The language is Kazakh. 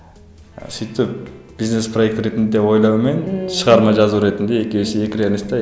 ы сөйтіп бизнес проект ретінде ойлаумен шығарма жазу ретінде екеуі екі реалист те